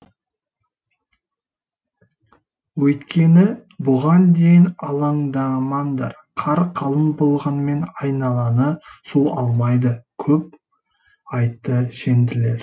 өйткені бұған дейін алаңдамаңдар қар қалың болғанмен айналаны су алмайды көп айтты шенділер